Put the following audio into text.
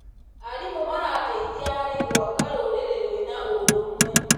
Arimũ marateithia harĩ gwaka rũrĩrĩ rwĩna ũrũmwe.